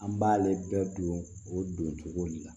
An b'ale bɛɛ don o don cogo de la